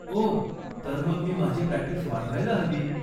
ओह, तर मग मी माझी प्रॅक्टीस वाढवायला हवी.